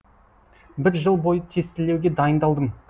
бір жыл бойы тестілеуге дайындалдым